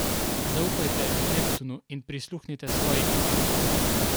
Zaupajte Neptunu in prisluhnite svoji intuiciji.